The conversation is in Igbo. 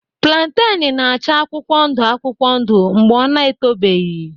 Plantain na-acha akwụkwọ ndụ akwụkwọ ndụ mgbe ọ na-etobeghị.